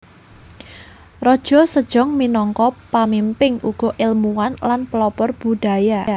Raja Sejong minangka pamimpin uga èlmuwan lan pelopor budaya